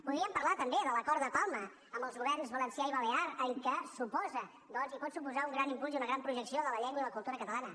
podríem parlar també de l’acord de palma amb els governs valencià i balear en què suposa doncs i ho pot suposar un gran impuls i una gran projecció de la llengua i la cultura catalana